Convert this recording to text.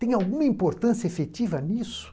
Tem alguma importância efetiva nisso?